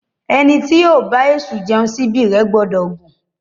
Ẹni tí yóò bá èṣù jẹun, síbí rẹ̀ gbọ́dọ̀ gùn.